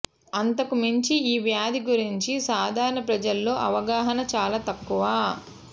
అంతకుమించి ఈ వ్యాధి గురించి సాధారణ ప్రజల్లో అవగాహన చాలా తక్కువ